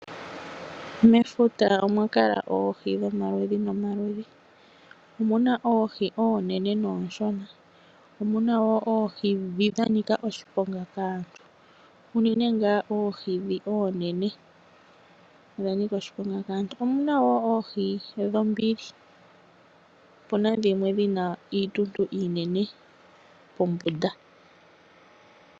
Mefuta owa kala oohi dhomaludhi nomaludhi. Omu na oohi oonene noonshona. Omu na wo oohi ndhi dha nika oshiponga kaantu, unene ngaa oohi ndhoka oonene. Omu na wo oohi dhombili. Opu na dhimwe dhi na iituntu iinene pombunda.